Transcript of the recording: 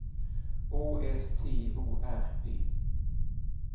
Å S T O R P